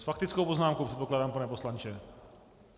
S faktickou poznámkou, předpokládám, pane poslanče?